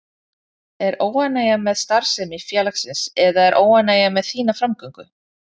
Er óánægja með starfsemi félagsins eða er óánægja með þína framgöngu?